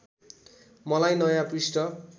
मलाई नयाँ पृष्ठ